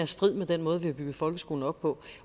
strid med den måde vi har bygget folkeskolen op på